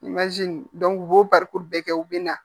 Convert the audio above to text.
u b'o barikuru bɛɛ kɛ u bɛ na